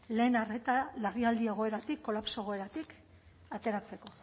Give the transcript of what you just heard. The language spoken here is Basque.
lehen arreta larrialdi egoeratik kolapso egoeratik ateratzeko